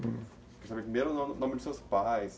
Queria saber primeiro o nome dos seus pais.